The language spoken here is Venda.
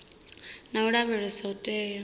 na u lavheleswa u tea